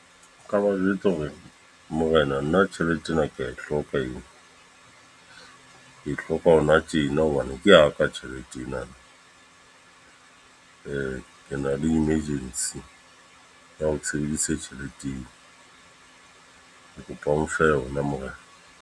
Nka ba jwetsa hore, morena nna tjhelete ena ke a e hloka eo. Ke e hloka hona tjena, hobane ke a ka tjhelete ena. Ke na le emergency ya hore ke sebedise tjhelete eo. ke kopa o nfe yona morena.